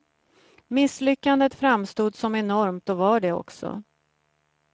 Misslyckandet framstod som enormt och var det också.